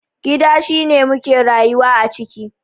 Gida shine muke rayuwa a ciki.